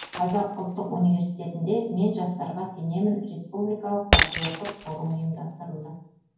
қазақ ұлттық университетінде мен жастарға сенемін республикалық париоттық форум ұйымдастырылды